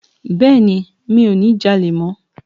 Bẹ́ẹ̀ni mi ò ní ja'lè mó